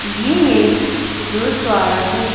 यह एक गुरुद्वारा है।